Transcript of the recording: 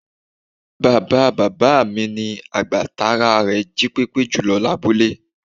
Bàbáa bàbá mi ni àgbà tára rè jípépé jùlọ lábúlé